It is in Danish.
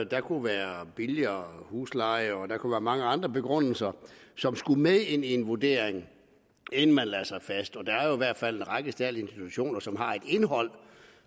der kunne være billigere husleje og der kunne være mange andre begrundelser som skulle med ind i en vurdering inden man lagde sig fast der er hvert fald en række særlige institutioner som har et indhold